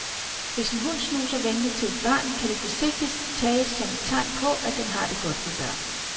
Hvis en hund snuser venligt til et barn, kan det forsigtigt tages som tegn på, at den har det godt med børn.